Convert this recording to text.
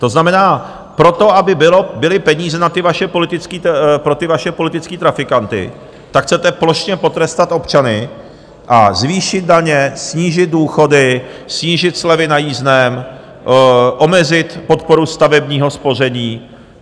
To znamená, proto, aby byly peníze pro ty vaše politické trafikanty, tak chcete plošně potrestat občany a zvýšit daně, snížit důchody, snížit slevy na jízdném, omezit podporu stavebního spoření.